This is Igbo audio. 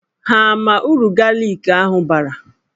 Ha ama uru galik ahụ bara?